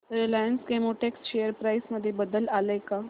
Reliance Chemotex share price मध्ये बदल आलाय का